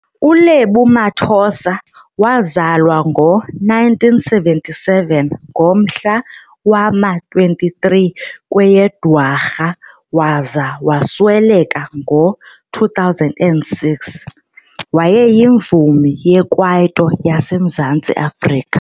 uLebo Mathosa wazalwa ngo1977 - ngomhla wama-23 kweyeDwarha waza wasweleka ngo2006 wayeyimvumi yekwaito yasemzantsi Afrika.